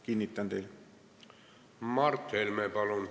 Mart Helme, palun!